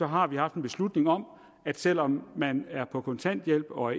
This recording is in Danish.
har vi haft en beslutning om at selv om man er på kontanthjælp og